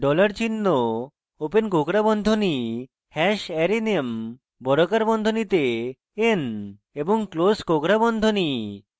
dollar চিহ্ন open কোঁকড়া বন্ধনী hash arrayname বর্গাকার বন্ধনীতে n এবং ক্লোস কোঁকড়া বন্ধনী